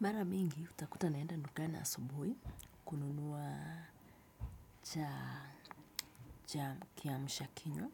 Mara mingi utakuta naenda dukani asubuhi kununua cha kiamshakinywa.